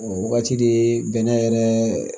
O wagati de bɛnɛ yɛrɛ